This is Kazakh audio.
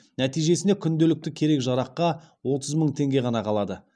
нәтижесінде күнделікті керек жараққа отыз мың теңге ғана қалады